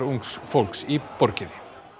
ungs fólks í borginni